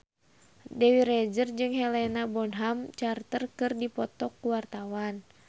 Dewi Rezer jeung Helena Bonham Carter keur dipoto ku wartawan